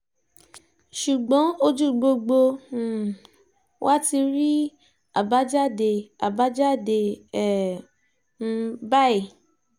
ṣùgbọ́n ojú gbogbo um wa ti rí àbájáde àbájáde ẹ̀ um báyìí